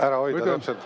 Täpselt!